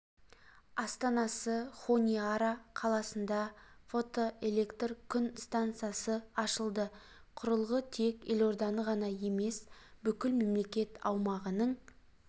астанасы хониара қаласында фотоэлектр күн стансасы ашылды құрылғы тек елорданы ғана емес бүкіл мемлекет аумағының